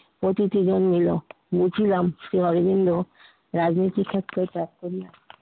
অতিথি জন্মিলো লিখিলাম শ্রী অরবিন্দ রাজনীতি ক্ষেত্রে তার পরিচয়